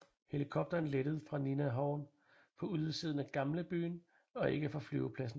Helikopteren lettede fra Linnahall på udsiden af gamlebyen og ikke fra flypladsen